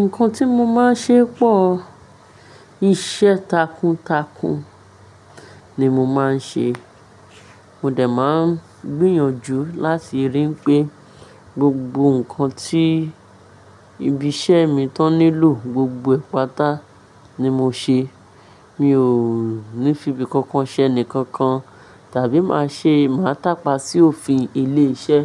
Nǹkan tí mo máa ń ṣe pọ̀, iṣẹ́ takuntakun ni mo máa ń ṣe. Mo dà máa ń gbìyànjú láti ríi pé gbogbo nǹkan tí ibi iṣẹ́ mi tó nílò gbogbo ìpátá ni mo ṣe. Mi ò ní fi ibi kankan ṣẹ́ ni kankan tàbí máa ṣe máa tàpá sí òfin ilé-iṣẹ́.